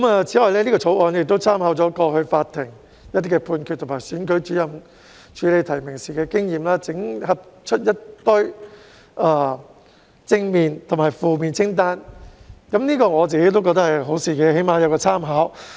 此外，《條例草案》參考過往法庭判決及選舉主任處理提名時的經驗，整合出正面及負面清單，我個人認為這是好事，至少可供參考。